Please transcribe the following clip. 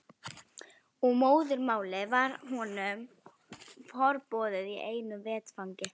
Og móðurmálið varð honum forboðið í einu vetfangi.